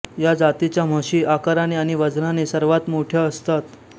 या जातीच्या म्हशी आकाराने आणि वजनाने सर्वांत मोठ्या असतात